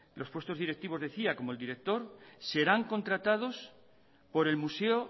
los puestos directivos como el del director serán contratados por el museo